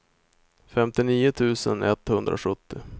femtionio tusen etthundrasjuttio